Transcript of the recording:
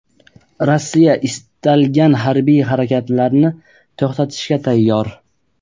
Rossiya istalgan harbiy harakatlarni to‘xtatishga tayyor.